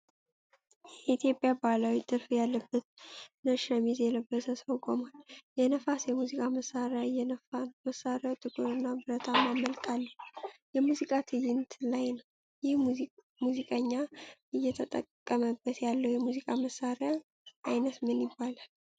የኢትዮጵያ ባህላዊ ጥልፍ ያለበት ነጭ ሸሚዝ የለበሰ ሰው ቆሟል። የነፋስ የሙዚቃ መሳሪያ እየነፋ ነው። መሳሪያው ጥቁር እና ብረታማ መልክ አለው። የሙዚቃ ትዕይንት ላይ ነው። ይህ ሙዚቀኛ እየተጠቀመበት ያለው የሙዚቃ መሳሪያ ዓይነት ምን ይባላል?